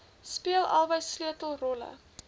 speel albei sleutelrolle